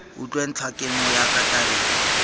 utlwe ntlhakemo ya ka tabeng